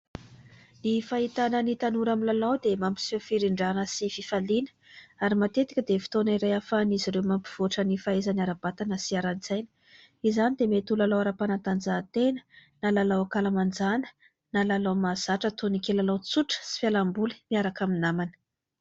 Ny fahitana ny tanora milalao dia mampiseho firindrana sy fifaliana, ary matetika dia fotoana iray ahafahan'izy ireo mampivoatra ny fahaizany ara-batana sy ara-tsaina : izany dia mety ho lalao ara-panatanjahantena na lalao an-kalamanjàna na lalao mahazatra toy ny kilalao tsotra sy fialamboly miaraka amin'ny namana.